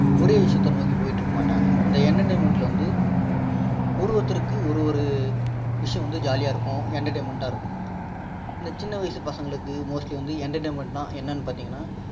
ஒரே விஷயத்த நோக்கி போயிட்டு இருக்க மாட்டாங்க இந்த entertainment ல வந்து ஒரு ஒருத்தருக்கு ஒரு ஒரு விஷயம் வந்து jolly யா இருக்கும் entertainment டா இருக்கும் இந்த சின்ன வயசு பசங்களுக்கு mostly வந்து entertainment னா என்னனு பார்த்தீங்கன்னா